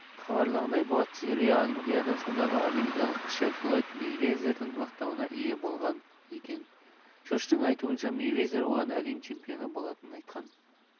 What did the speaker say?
хабарлағандай буатси рио олимпиадасында америкалық кіші флойд мейвезердің мақтауына ие болған екен джоштың айтуынша мейвезер оған әлем чемпионы болатынын айтқан